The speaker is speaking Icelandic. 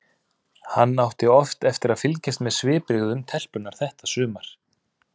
Hann átti oft eftir að fylgjast með svipbrigðum telpunnar þetta sumar.